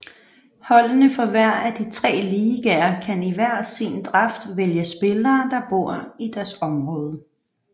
Holdene fra hver af de tre ligaer kan i hver sin draft vælge spillere der bor i deres område